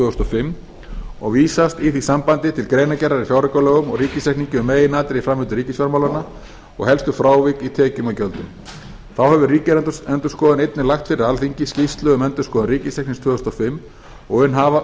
þúsund og fimm og vísast í því sambandi til greinargerðar í fjáraukalögum og ríkisreikningi um meginatriði í framvindu ríkisfjármálanna og helstu frávik í tekjum og gjöldum þá hefur ríkisendurskoðun einnig lagt fyrir alþingi skýrslu um endurskoðun ríkisreiknings tvö þúsund og fimm og um